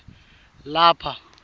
lapha